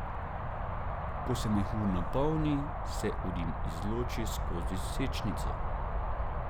Ko se mehur napolni, se urin izloči skozi sečnico.